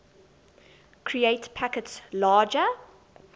create packets larger